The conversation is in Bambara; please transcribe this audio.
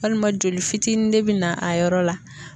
Walima joli fitini ne bi na a yɔrɔ la.